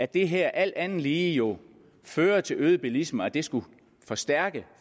det her alt andet lige jo fører til øget bilisme at det skulle styrke